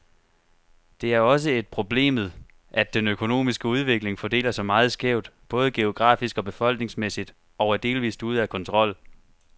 Det er også et problemet, at den økonomiske udvikling fordeler sig meget skævt, både geografisk og befolkningsmæssigt, og er delvist ude af kontrol.